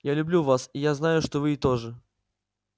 я люблю вас и я знаю что и вы тоже